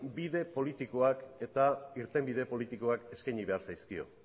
bide politikoa eta irtenbide politikoak eskaini behar zaizkio